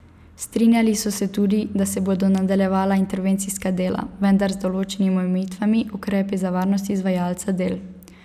Strinjali so se tudi, da se bodo nadaljevala intervencijska dela, vendar z določenimi omejitvenimi ukrepi za varnost izvajalca del.